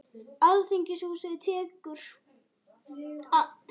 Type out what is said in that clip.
Alþingishúsið tekið, stytta Jóns Sigurðssonar heldur á rauðum fána